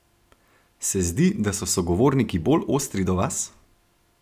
Se zdi, da so sogovorniki bolj ostri do vas?